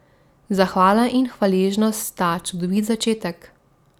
Zahvala in hvaležnost sta čudovit začetek.